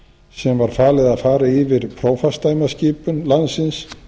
sem var falið að fara yfir prófastsdæmaskipan landsins